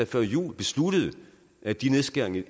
før jul besluttede at de nedskæringer